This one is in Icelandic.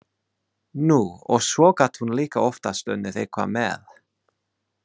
Nú, og svo gat hún líka oftast unnið eitthvað með.